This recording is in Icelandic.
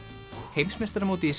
heimsmeistaramótið í